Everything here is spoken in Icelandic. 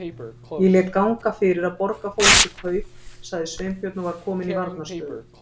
Ég lét ganga fyrir að borga fólki kaup- sagði Sveinbjörn og var kominn í varnarstöðu.